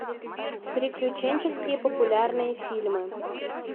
приключенческие популярные фильмы